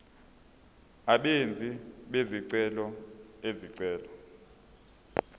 abenzi bezicelo izicelo